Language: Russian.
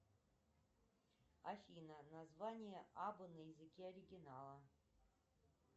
афина название абба на языке оригинала